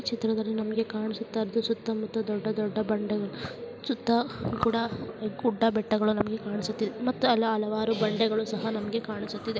ಚಿತ್ರದಲ್ಲಿ ನಮಗೆ ಕಾಣಿಸುತ್ತಾ ಸುತ್ತ ಮುತ್ತ ದೊಡ್ಡ ಬಂಡೆಗಳು ಸುತ್ತ ಗುಡ ಗುಡ್ಡ ಬೆಟ್ಟಗಳು ಇಲ್ಲಿ ಕಾಣಿಸುತ್ತಿವೆ ಮತ್ತೆ ಅಲ್ಲಿ ಹಲವಾರು ಬಂಡೆಗಳು ಸಹ ಕಾಣಿಸುತ್ತಿದೆ